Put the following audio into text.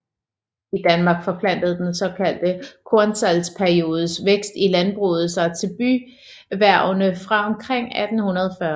I Danmark forplantede den såkaldte kornsalgsperiodes vækst i landbruget sig til byerhvervene fra omkring 1840